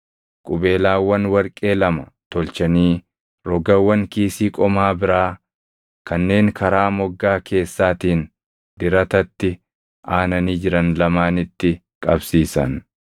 Qubeelaawwan warqee lama tolchanii rogawwan kiisii qomaa biraa kanneen karaa moggaa keessaatiin diratatti aananii jiran lamaanitti qabsiisan.